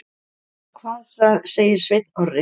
En hvað segir Sveinn Orri?